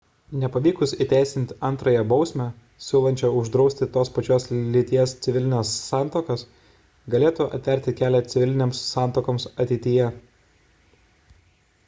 nepavykus įteisinti antrąją bausmę siūlančią uždrausti tos pačios lyties civilines santuokas galėtų atverti kelią civilinėms santuokoms ateityje